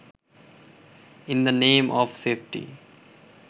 in the name of safety